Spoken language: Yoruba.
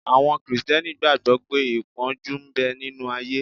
Àwọn Krìsìtẹ́nì gbàgbọ́ pé ìpọ́njú ń bẹ nínu ayé